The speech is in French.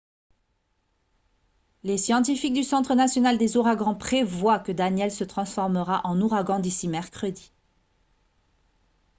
les scientifiques du centre national des ouragans prévoient que danielle se transformera en ouragan d'ici mercredi